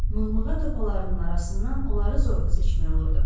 Mığmığa topalarının arasından onları zorla seçmək olurdu.